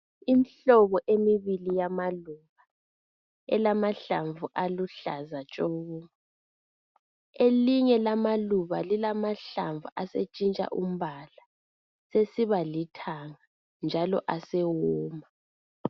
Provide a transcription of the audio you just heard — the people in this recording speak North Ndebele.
Imihlobohlobo emibili yamaluba elamahlamvu aluhlaza tshoko elinye lamaluba lilamahlamvu asetshintsha umbala sesiba lithanga njalo asewoma